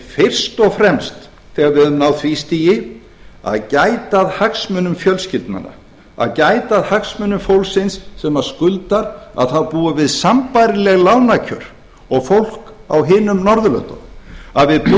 fyrst og fremst þegar við höfum náð því stigi að gæta að hagsmunum fjölskyldnanna að gæta að hagsmunum fólksins sem skuldar að það búi við sambærileg lánakjör og fólk á hinum norðurlöndunum að við